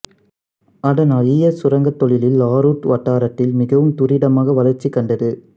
அதனால் ஈயச் சுரங்கத் தொழில் லாருட் வட்டாரத்தில் மிகவும் துரிதமாக வளர்ச்சி கண்டது